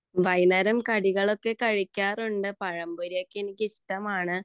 വൈകുന്നേരം കടികളൊക്കെ കഴിക്കാറുണ്ട് പഴം പൊരിയൊക്കെ എനിക്ക് ഇഷ്ടമാണ്